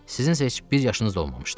Sizin isə heç bir yaşınız olmamışdı.